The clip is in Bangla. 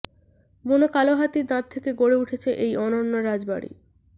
বুনো কালো হাতির দাঁত থেকে গড়ে উঠেছে এই অনন্য রাজবাড়ি